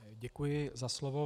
Děkuji za slovo.